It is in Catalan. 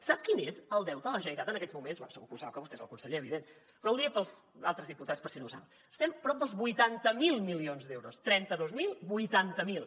sap quin és el deute de la generalitat en aquests moments bé segur que ho sap que vostè és el conseller evident però ho diré per als altres diputats per si no ho saben estem prop dels vuitanta miler milions d’euros trenta dos mil vuitanta miler